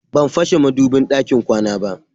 Ban fashe madubin ɗakin kwana ba.